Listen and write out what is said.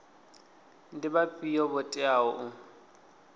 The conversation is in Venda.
ndi vhafhio vho teaho u